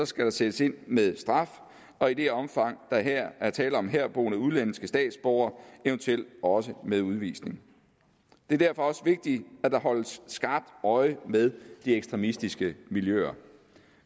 skal der sættes ind med straf og i det omfang der er tale om herboende udenlandske statsborgere eventuelt også med udvisning det er derfor også vigtigt at der holdes skarpt øje med de ekstremistiske miljøer